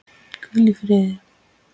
Hvíl í fríði.